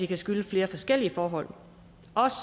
kan skyldes flere forskellige forhold